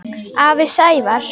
Afi Sævar.